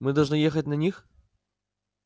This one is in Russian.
мы должны ехать на них